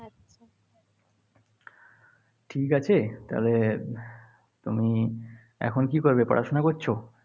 ঠিক আছে? তবে তুমি এখন কী করবে? পড়াশোনা করছ?